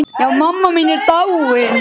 Já, mamma mín er dáin.